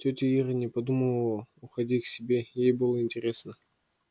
тётя ира не думала уходить к себе ей было интересно